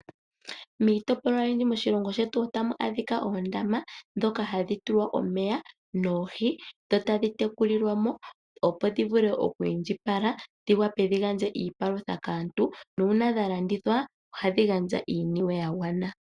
Miitopolwa oyindji moshilongo shetu otamu adhika oondama ndhoka hadhi tulwa omeya noohi ,dhotadhi tekulilwamo opo dhivule oku indjipala, dhiwape dhigandje iipalutha kaantu. Uuna dha landithwa ohadhi gandja iiniwe yagwana.